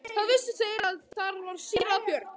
Þá vissu þeir að þar var síra Björn.